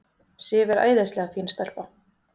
Sif er æðislega fín stelpa.